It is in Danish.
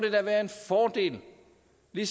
jeg